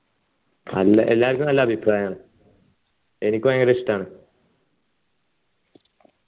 നല്ല എല്ലാർക്കും നല്ല അഭിപ്രായമാണ് എനിക്ക് ഭയങ്കര ഇഷ്ടമാണ്